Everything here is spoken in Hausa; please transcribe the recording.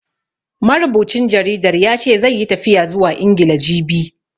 Marubucin jaridar ya ce, zai yi tafiya zuwa Ingila, jibi.